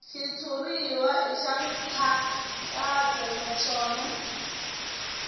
xitshuriwa i ya nkhaqato naswona